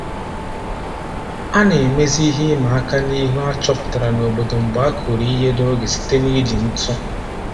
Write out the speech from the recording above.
A na-emezi ihe ịma aka n'ihu a chọpụtara n'obodo mgbe a kụrụ ihe n'oge site n'iji ntụ